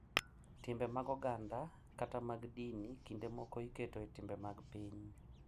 Timbe mag oganda kata mag dini kinde moko iketo e timbe mag piny.